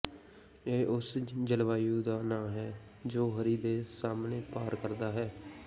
ਇਹ ਉਸ ਜਲਵਾਯੂ ਦਾ ਨਾਂ ਹੈ ਜੋ ਹਰੀ ਦੇ ਸਾਮ੍ਹਣੇ ਪਾਰ ਕਰਦਾ ਹੈ